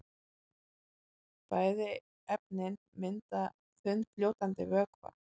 Bæði efnin mynda þunnfljótandi vökva.